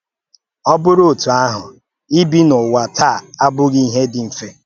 Ọ bụrụ́ otú ahụ, ibi n’ụwa taa abụghị ihe dị mfe.